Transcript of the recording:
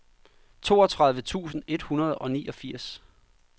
toogtredive tusind et hundrede og niogfirs